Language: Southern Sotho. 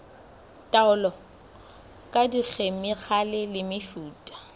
taolo ka dikhemikhale le mefuta